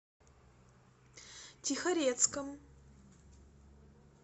тихорецком